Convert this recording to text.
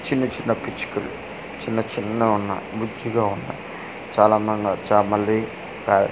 చిన్న చిన్న పిచ్చుకలు చిన్న చిన్నవున్న బుజ్జిగా ఉన్న చాలా అందంగా చా మళ్ళీ--